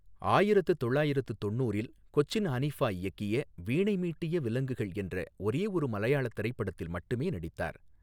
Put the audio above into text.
ஆயிரத்து தொள்ளாயிரத்து தொண்ணூறில் கொச்சின் ஹனிஃபா இயக்கிய வீணை மீட்டிய விலங்குகள் என்ற ஒரே ஒரு மலையாளத் திரைப்படத்தில் மட்டுமே நடித்தார்.